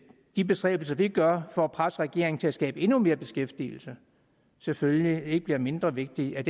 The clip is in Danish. de bestræbelser vi gør for at presse regeringen til at skabe endnu mere beskæftigelse selvfølgelig ikke bliver mindre vigtige